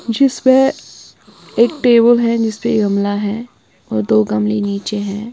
जिसपे एक टेबुल है जिसपे ये गमला है और दो गमले नीचे हैं।